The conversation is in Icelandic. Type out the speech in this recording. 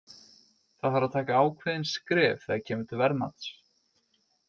Það þarf að taka ákveðin skref þegar kemur til verðmats.